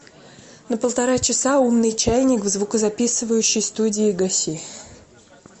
на полтора часа умный чайник в звукозаписывающей студии гаси